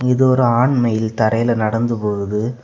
இது ஒரு ஆண் மயில் தரைலெ நடந்து போகுது.